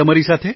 Shri Hari જી